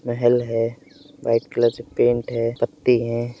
महल है white colour से paint है पत्ती है।